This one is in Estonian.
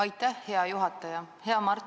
Aitäh, hea juhataja!